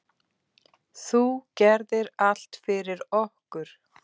Þú gerðir allt fyrir okkur.